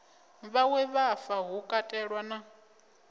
vhawe hafha hu katelwa na